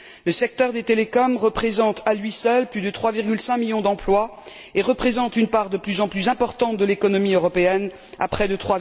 Le secteur des télécommunications offre, à lui seul, plus de 3,5 millions d'emplois et représente une part de plus en plus importante de l'économie européenne, de près de